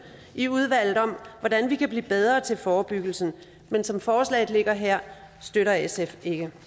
i udvalget om hvordan vi kan blive bedre til forebyggelsen men som forslaget ligger her støtter sf